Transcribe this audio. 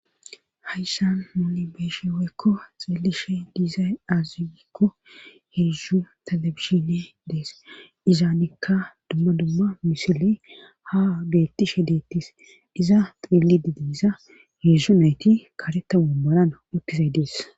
hayssan nuni beeyishe woykko xillishe diizay aazuekko heedzdzu tala bishine dees izaanekka dumma dumma misili ha gettishe deettis iza xilli di diisa heedzdzu nayti karetta woommaran uttizay dees